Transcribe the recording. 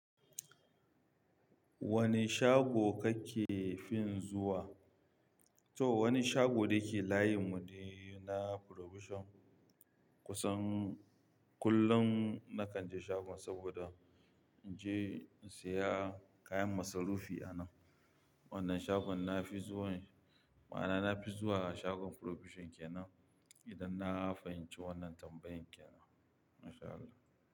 Wane shago kake fin zuwa? To wani shago da yake layin mu ne na Provision kusan kullum na kan je shagon saboda in je in saya kayan masarufi a nan. Wannan shagon na fi zuwan, ma'ana na fi zuwa shagon Provision kenan idan na fahimci wannan tambayan kenan. MashAllah.